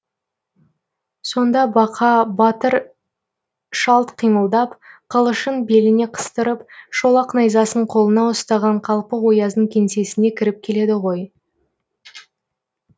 сонда бақа батыр шалт қимылдап қылышын беліне қыстырып шолақ найзасын қолына ұстаған қалпы ояздың кеңсесіне кіріп келеді ғой